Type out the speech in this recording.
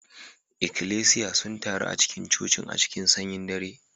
Ikklesiya sun taru a cikin cocin a cikin sanyin dare